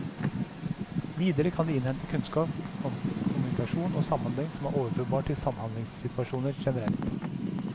Videre kan de innhente kunnskap om kommunikasjon og samhandling som er overførbar til samhandlingssituasjoner generelt.